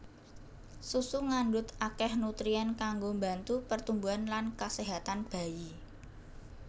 Susu ngandhut akèh nutrien kanggo mbantu pertumbuhan lan kaséhatan bayi